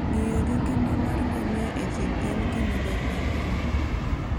Ng'iyo gi ngima mar ngamia e thim en gima ber ahinya.